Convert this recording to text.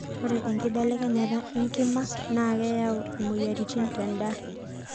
ore enkibelekenyata enkima naa keyau imoyiaritin tendaa